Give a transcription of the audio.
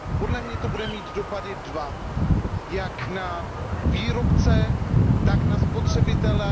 Podle mě to bude mít dopady dva, a to jak na výrobce, tak na spotřebitele.